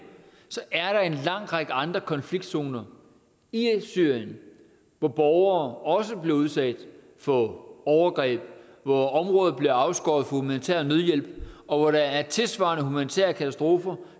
er der en lang række andre konfliktzoner i syrien hvor borgere også bliver udsat for overgreb hvor områder bliver afskåret humanitær nødhjælp og hvor der er tilsvarende humanitære katastrofer